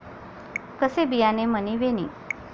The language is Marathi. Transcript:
कसे बियाणे मणी वेणी?